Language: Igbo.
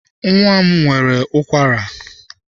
Nwa m nwere ụkwara.